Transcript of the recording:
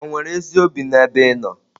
Ò nwere ezi obi n'ebe ị nọ?